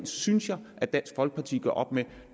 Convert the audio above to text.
synes jeg at dansk folkeparti gør op med